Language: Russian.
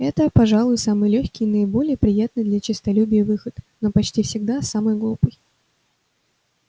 это пожалуй самый лёгкий и наиболее приятный для честолюбия выход но почти всегда самый глупый